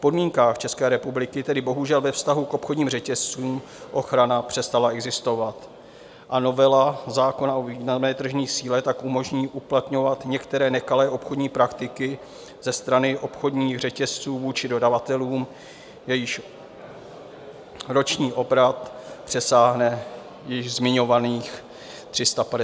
V podmínkách České republiky tedy bohužel ve vztahu k obchodním řetězcům ochrana přestala existovat a novela zákona o významné tržní síle tak umožní uplatňovat některé nekalé obchodní praktiky ze strany obchodních řetězců vůči dodavatelům, jejichž roční obrat přesáhne již zmiňovaných 350 milionů euro.